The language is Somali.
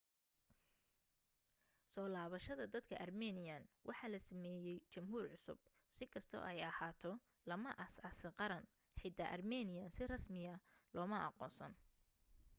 soo labashada dadka armenian waxaa la sameyey jamhuur cusub si kasto ay ahaato lama aas aasing qaran xita armenian si rasmiyan loma aqoonsan